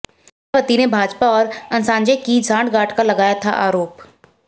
मायावती ने भाजपा और अंसाजे की सांठगांठ का लगाया था आरोप